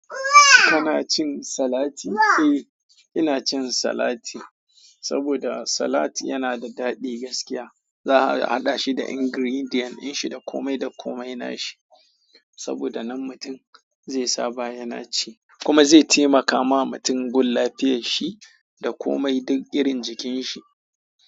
Kana cin salati? Eh, ina cin salati saboda salati yana da daɗi gaskiya. Za a haɗa shi da ingredient din shi da kome da kome na shi saboda nan mutum zai saba yana ci kuma zai taimaka wa mutum gun lafiyar shi da komai duk irin jikin shi.